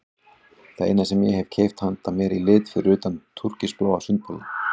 Það eina sem ég hef keypt handa mér í lit fyrir utan túrkisbláa sundbolinn.